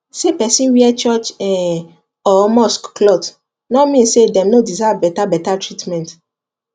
say person wear church um or mosque cloth no mean say dem no deserve better better treatment